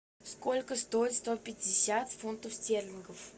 сколько стоит сто пятьдесят фунтов стерлингов